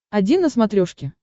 один на смотрешке